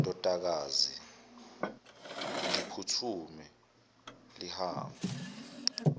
ndodakazi ngiphuthume lihambe